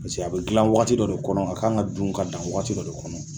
Paseke a bɛ dilan waati dɔ de kɔnɔ a kan ka dun ka dan waati dɔ de kɔnɔ.